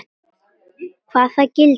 Hvaða gildru?